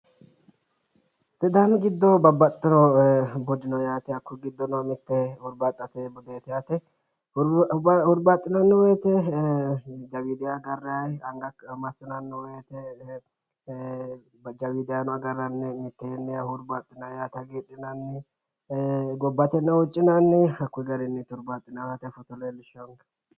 Sidaami giddo babbaxxinno budi no yaate. Hakkuyi giddono mittu hurbaaxxate budeeti yaate. Hurbaaxxinanni woyite jawiidiha agaranni, anga hakkira massinanni woyite jawiidihano agarranni mitteenni hurbaaxxinni yaate hagidhiinaanni. Gobbateno huuccinanni hakkuyi garinniiti hurbaaxxinaayihu foto leellishshawonkehu.